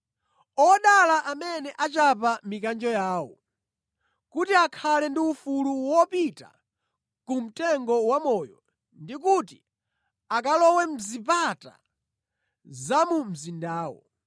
“Odala amene achapa mikanjo yawo, kuti akhale ndi ufulu wopita ku mtengo wamoyo ndi kuti akalowe mʼzipata za mu mzindawo.